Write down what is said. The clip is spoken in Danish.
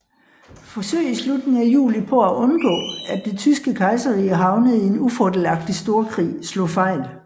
Forsøg i slutningen af juli på at undgå at det tyske kejserrige havnede i en ufordelagtig storkrig slog fejl